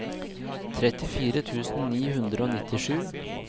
trettifire tusen ni hundre og nittisju